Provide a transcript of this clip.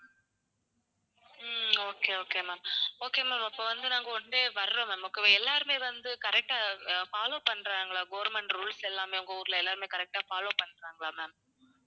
உம் okay okay ma'am, okay ma'am அப்ப வந்து நாங்க one day வர்றோம் ma'am okay வா. எல்லாருமே வந்து correct ஆ அஹ் follow பண்றாங்களா government rules எல்லாமே உங்க ஊர்ல எல்லாருமே correct ஆ follow பண்றாங்களா ma'am?